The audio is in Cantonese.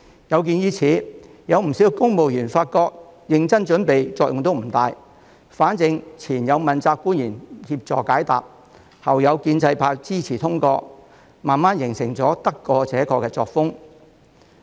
有見及此，不少公務員發覺即使認真準備亦作用不大，反正前有問責官員協助解答，後有建制派支持通過，慢慢形成得過且過的作風。